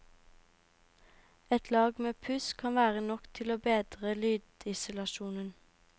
Et lag med puss kan være nok til å bedre lydisolasjonen.